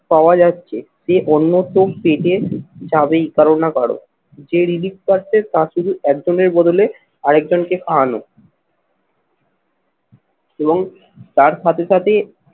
পাওয়া যাচ্ছে সে অন্যত্র পেটের যাবেই কারো না কারো। যে relief পাচ্ছে তা শুধু একজনের বদলে আর একজনকে খাওয়ানো এবং তার সাথে সাথে